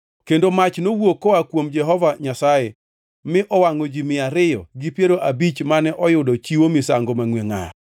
Kendo mach nowuok koa kuom Jehova Nyasaye mi owangʼo ji mia ariyo gi piero abich mane oyudo chiwo misango mangʼwe ngʼar.